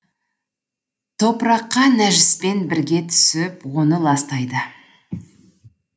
топыраққа нәжіспен бірге түсіп оны ластайды